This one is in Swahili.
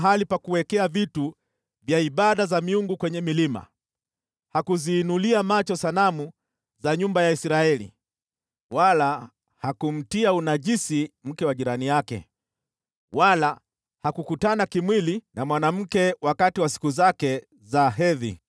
Hakula katika mahali pa ibada za miungu kwenye milima wala hakuziinulia macho sanamu za nyumba ya Israeli. Hakumtia unajisi mke wa jirani yake, wala hakukutana kimwili na mwanamke wakati wa siku zake za hedhi.